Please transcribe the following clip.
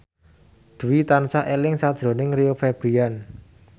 Dwi tansah eling sakjroning Rio Febrian